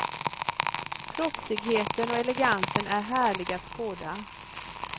Proffsigheten och elegansen är härlig att skåda.